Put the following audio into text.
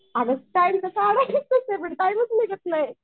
अरे टाइम तर काढायचं आहे पण टाईमच निघत नाही.